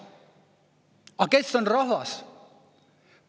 Aga kes on rahvas?